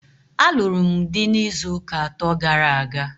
A lụrụ m dị n'izuuka atọ gara aga.